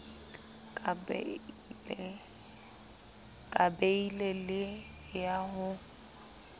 ka beile le ya ho